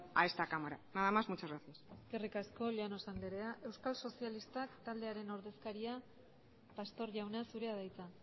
a esta cámara nada más muchas gracias eskerrik asko llanos andrea euskal sozialistak taldearen ordezkaria pastor jauna zurea da hitza